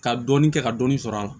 Ka dɔɔnin kɛ ka dɔɔni sɔrɔ a la